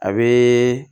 A bɛ